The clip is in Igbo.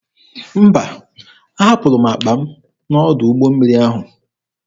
Mba, ahapụrụ m akpa m n'ọdụ ụgbọ mmiri ahụ.